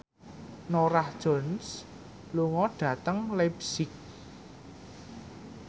Norah Jones lunga dhateng leipzig